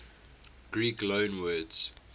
greek loanwords